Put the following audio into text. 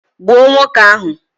Gbuo nwoke ahu!